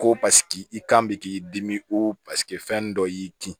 Ko paseke i kan bɛ k'i dimi o paseke fɛn dɔ y'i di